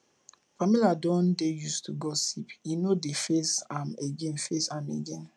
pamela don dey used to gossip e no dey faze am again faze am again